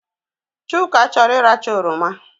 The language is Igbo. Chuka chọrọ iracha oroma